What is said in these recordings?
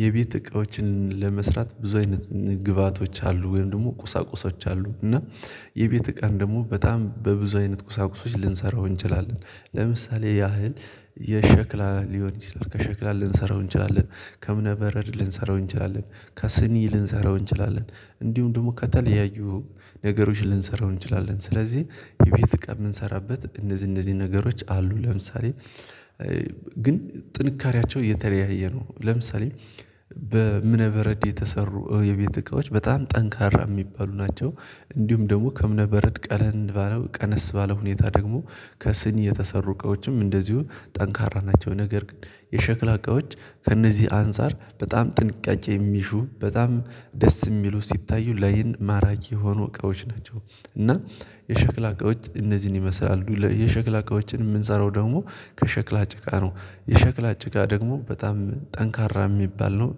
የቤት እቃዎችን ለመስራት ብዙ አይነት ግብአቶች አሉ ወይም ደግሞ ቁሳቁሶች አሉ እና የቤት እቃን ደግሞ በጣም በብዙ አይነት ቁሳቁሶች ልንሰራው እንችላለን። ለምሳሌ ያህል የሸክላ ሊሆን ይችላል ከሸክላ ልንሰራው እንችላለን ከእምነበረድ ልንሰራው እንችላለን ከስኒ ልንሰራው እንችላለን እንዲሁም ደግሞ ከተለያዩ ነገሮች ልንሰራው እንችላለን ስለዚህ የቤት እቃ የምንሰራበት እነዚህ እነዚህ ነገሮች አሉ ለምሳሌ ግን ጥንካሬያቸው የተለያየ ነው ለምሳሌ በ በረድ የተሰሩ የቤት እቃዎች በጣም ጠንካራ የሚባሉ ናቸው። እንዲሁም ደግሞ ከእምነ በረድ ቀለል ባለው ቀነስ ባለው ሁኔታ ደግሞ ከስኒ የተሰሩ እቃዎችም እንደዚሁ ጠንካራ ናቸው ነገር ግን የሸክላ እቃዎች ከእነዚህ አንፃር በጣም ጥንቃቄ የሚሹ በጣም ደስ የሚሉ ሲታዩ ላይን ማራኪ የሆኑ እቃዎች ናቸው። እና የሸክላ እቃዎች እነዚህን ይመስላሉ የሸክላ እቃዎችን የምንሰራው ደግሞ ከሸክላ ጭቃ ነው የሸክላ ጭቃ ደግሞ በጣም ጠንካራ የሚባል ነው።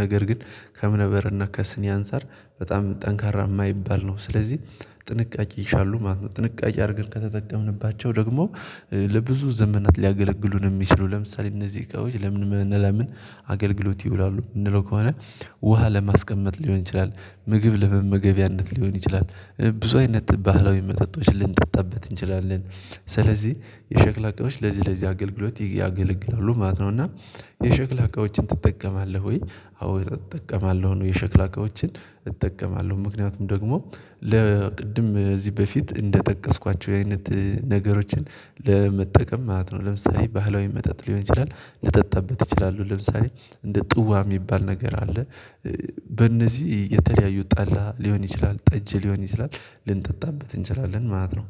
ነገር ግን ከእምነበረድና ከስኒ አንፃር በጣም ጠንካራ የማይባል ነው። ስለዚህ ጥንቃቄ ይሻሉ ማለት ነው ነው። ጥንቃቄ አድርገን ከተጠቀምንባቸው ደግሞ ለብዙ ዘመናት ሊያገለግሉን የሚችሉ ለምሳሌ እነዚህ እቃዎች ለምን ለምን አገልግሎት ይውላሉ የምንለው ከሆነ? ውሃ ለማስቀመጥ ሊሆን ይችላል ምግብ ለመመገቢያነት ሊሆን ይችላል ብዙ አይነት ባህላዊ መጠጦች ልንጠጣበት እንችላለን። ስለዚህ የሸክላ እቃዎች ለዚህ ለዚህ አገልግሎት ያገለግላሉ ማለት ነው። እና የሸክላ እቃዎችን ትጠቀማለህ ወይ? አዎ እጠቀማለሁ የሸክላ እቃዎችን እጠቀማለሁ ምክንያቱም ደግሞ ለቅድም እዚህ በፊት እንደጠቀስኳቸው አይነት ነገሮችን ለመጠቀም ማለት ነው። ለምሳሌ ባህላዊ መጠጥ ሊሆን ይችላል ልጠጣበት ይችላሉ ለምሳሌ እንደ ጥዋ የሚባል ነገር አለ። በእነዚህ የተለያዩ ጠላ ሊሆን ይችላል ጠጅ ሊሆን ይችላል ልንጠጣበት እንችላለን ማለት ነው